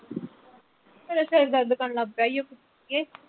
ਮੇਰਾ ਸਿਰ ਦਰਦ ਕਰਨ ਲੱਗ ਪਿਆ ਈ ਓ